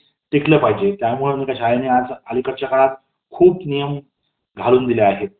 टिकलं पाहिजे . त्यामुळे मी शाळेने आज खूप नियम घालून दिलेले आहेत .